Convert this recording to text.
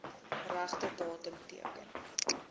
regte datum teken